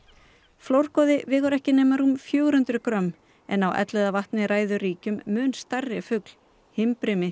flórgoði vegur ekki nema rúm fjögur hundruð grömm en á Elliðavatni ræður ríkjum mun stærri fugl